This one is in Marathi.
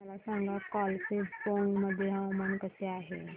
मला सांगा कालिंपोंग मध्ये हवामान कसे आहे